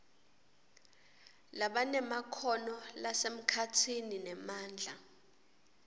labanemakhono lasemkhatsini nemandla